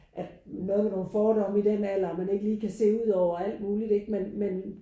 At noget med nogle fordomme i den alder man ikke lige kan se ud over og alt muligt ikke men men